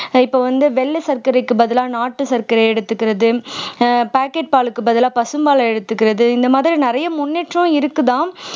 இப்ப வந்து வெள்ளை சர்க்கரைக்கு பதிலா நாட்டு சர்க்கரை எடுத்துக்கறது ஆஹ் packet பாலுக்கு பதிலா பசும்பாலை எடுத்துக்கறது இந்த மாதிரி நிறைய முன்னேற்றம் இருக்குதாம்